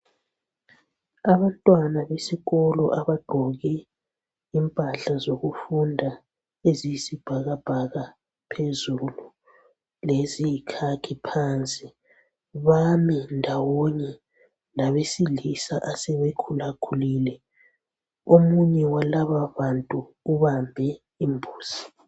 Abantwana besikolo abagqoke impahla zokufunda eziyisibhakabhaka phezulu, leziyikhakhi phansi, bami ndawonye labesilisa asebekhulakhulile omunye walababantu ubambe imbuzi.